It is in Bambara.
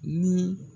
Ni